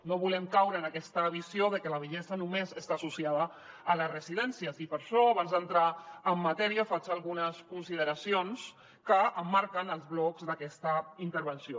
no volem caure en aquesta visió de que la vellesa només està associada a les residències i per això abans d’entrar en matèria faig algunes consideracions que emmarquen els blocs d’aquesta intervenció